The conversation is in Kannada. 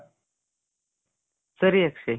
ಸರಿ ಅಕ್ಷಯ್.